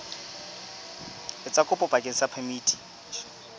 etsa kopo bakeng sa phemiti